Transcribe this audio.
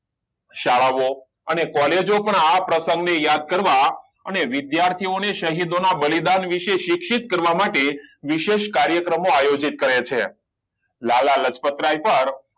શાળા ઓ અને કૉલેજો પણ આ પ્રશંગ ને યાદ કરવા અને વિદ્યાર્થી ઓને શહીદોના બલિદાન વિષે શિક્ષિત કરવા માટે વિશેષ કાર્યક્રમો કરે છે લાલા લાજ્પત રાય પર